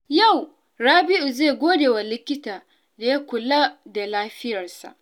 Yau, Rabi’u zai gode wa likita da ya kula da lafiyarsa.